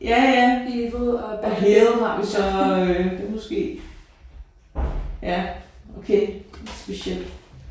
Ja ja og hill har vi så det er måske ja okay specielt